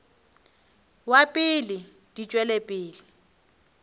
wa pele di tšwela pele